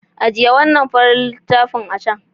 Ajiye wannan farin littafin a can.